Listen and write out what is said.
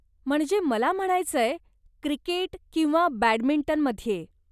म्हणजे मला म्हणायचंय, क्रिकेट किंवा बॅडमिंटनमध्ये.